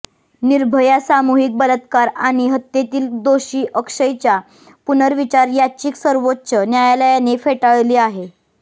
निर्भया सामूहिक बलात्कार आणि हत्येतील दोषी अक्षयच्या पुनर्विचार याचिका सर्वोच्च न्यायालयाने फेटाळली आहे